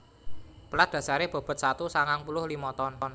Pelat dasaré bobot satu sangang puluh limo ton